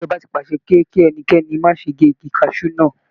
Ìjọba ti pàṣẹ pe kí ẹnikẹ́ni má ṣe gé igi kaṣú náà.